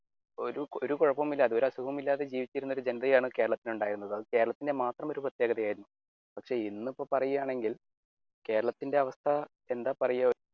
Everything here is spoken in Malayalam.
ഒരു കൂടുതലും കൊഴപ്പമൊന്നുമില്ലായിരുന്നു ഒരു അസുഖവും ഇല്ലാതെ ജീവിക്കുന്ന ഒരു ജനതയെയാണ് കേരളത്തിൽ ഉണ്ടായിരുന്നത് കേരളത്തിന്റെ മാത്രം ഒരു പ്രത്യേകതയായിരുന്നു. പക്ഷെ ഇന്നിപ്പോ പറയുകയാണെങ്കിൽ കേരളത്തിന്റെ അവസ്ഥ എന്താ പറയുക